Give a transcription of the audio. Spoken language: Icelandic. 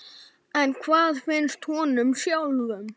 En hvað finnst honum sjálfum?